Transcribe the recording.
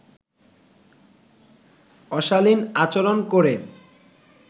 অশালীন আচরণ করে